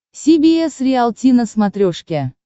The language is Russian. си би эс риалти на смотрешке